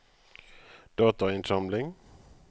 datainnsamling